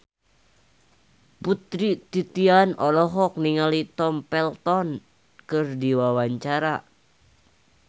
Putri Titian olohok ningali Tom Felton keur diwawancara